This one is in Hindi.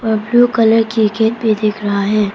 और ब्लू कलर की गेट भी दिख रहा है।